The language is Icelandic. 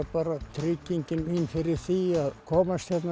tryggingin mín fyrir því að komast hérna